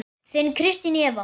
Þín Kristín Eva.